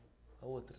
A outra?